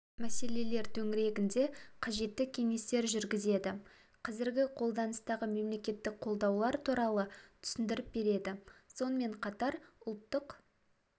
мәселелер төңірегінде қажетті кеңестер жүргізеді қазіргі қолданыстағы мемлекеттік қолдаулар туралы түсіндіріп береді сонымен қатар ұлттық